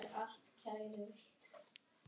Hvíslið er satt.